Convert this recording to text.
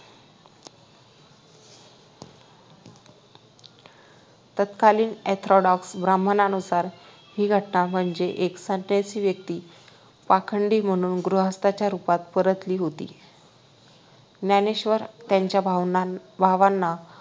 तत्कालीन ORTHODOCS ब्राम्हणांनुसार ही घटना म्हणजे एक संन्यासी व्यक्ति पाखांडी म्हणून गृहस्थाच्या रूपात परतली होती ज्ञानेश्वर त्यांचा भावनांना भावांना